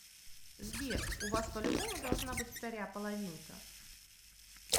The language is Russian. сбер у вас по любому должна быть вторя половинка